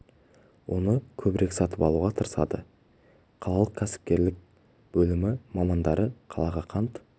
оны көбірек сатып алуға тырысады қалалық кәсіпкерлік бөлімі мамандары қалаға қант жеткізумен шанс және кортунов